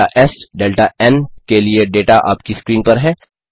delta S delta N के लिए data आपकी स्क्रीन पर है